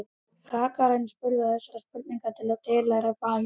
Rakarinn spurði þessara spurninga sem tilheyra faginu: